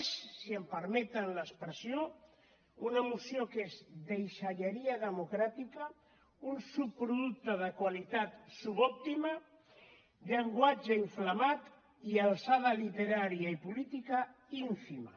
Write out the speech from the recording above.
és si em permeten l’expressió una moció que és deixalleria democràtica un subproducte de qualitat subòptima llenguatge inflamat i alçada literària i política ínfima